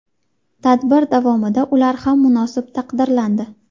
Tadbir davomida ular ham munosib taqdirlandi.